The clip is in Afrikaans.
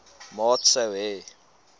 maat sou hê